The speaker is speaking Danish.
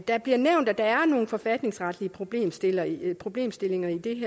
der bliver nævnt at der er nogle forfatningsretlige problemstillinger i problemstillinger i det